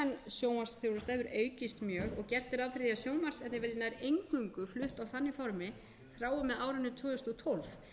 sjónvarpsþjónusta hefur aukist mjög og gert er ráð fyrir því að sjónvarpsþjónusta verði nær eingöngu flutt á stafrænu formi frá og með árinu tvö þúsund og tólf